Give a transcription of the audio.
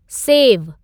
सेव !!!